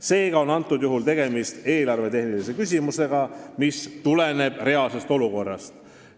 Seega on praegusel juhul tegemist eelarvetehnilise küsimusega, mis tuleneb reaalsest olukorrast.